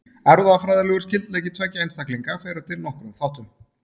Erfðafræðilegur skyldleiki tveggja einstaklinga fer eftir nokkrum þáttum.